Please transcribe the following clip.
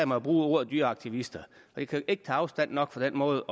mig at bruge ordet dyreaktivister jeg kan ikke tage afstand nok fra den måde